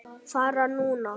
Fara núna?